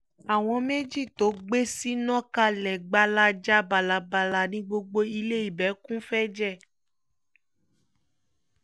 àwọn méjì tó gbé sì nà kalẹ̀ gbalaja bálábàlà ni gbogbo ilẹ̀ ibẹ̀ kún fún ẹ̀jẹ̀